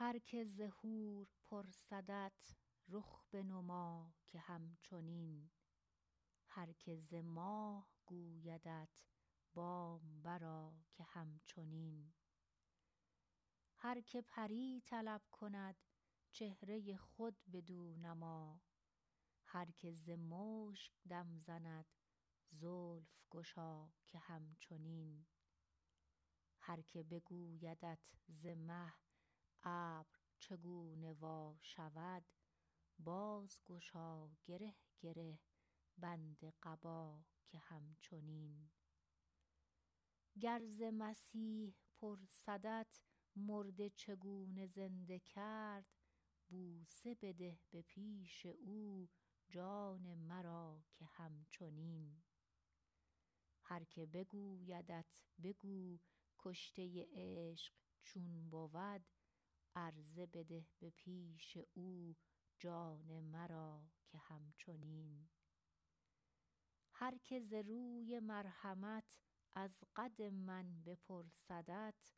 هر کی ز حور پرسدت رخ بنما که هم چنین هر کی ز ماه گویدت بام برآ که هم چنین هر کی پری طلب کند چهره خود بدو نما هر کی ز مشک دم زند زلف گشا که هم چنین هر کی بگویدت ز مه ابر چگونه وا شود بازگشا گره گره بند قبا که هم چنین گر ز مسیح پرسدت مرده چگونه زنده کرد بوسه بده به پیش او بر لب ما که هم چنین هر کی بگویدت بگو کشته عشق چون بود عرضه بده به پیش او جان مرا که هم چنین هر کی ز روی مرحمت از قد من بپرسدت